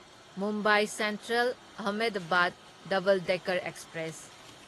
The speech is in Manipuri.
Mumbai central Ahmedabad double decker express